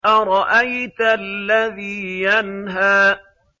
أَرَأَيْتَ الَّذِي يَنْهَىٰ